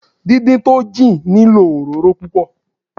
Dín dín tó jìn nílò òróró púpọ̀.